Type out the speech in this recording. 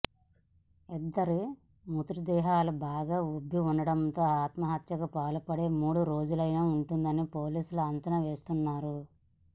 ఇద్దరి మృతదేహాలు బాగా ఉబ్బి ఉండడంతో ఆత్మహత్యకు పాల్పడి మూడు రోజులై ఉంటుందని పోలీసులు అంచనా వేస్తున్నారు